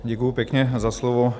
Děkuji pěkně za slovo.